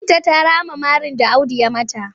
Binta ta rama marin da Audu ya yi mata.